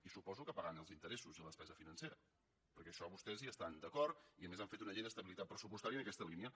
i suposo que pagant els interessos i la despesa financera perquè en això vostès hi estan d’acord i a més han fet una llei d’estabilitat pressupostària en aquesta línia